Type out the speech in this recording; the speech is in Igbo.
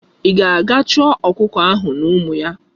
Ị ga-aga chọọ ọkụkọ ahụ na ụmụ ya!